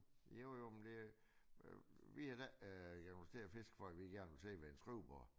Jo jo men det vi da ikke fordi øh kommet til at fiske for at vi gerne vil sidde ved et skrivebord